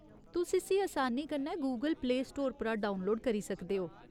तुस इस्सी असानी कन्नै गूगल प्ले स्टोर परा डाक्टरउनलोड करी सकदे ओ।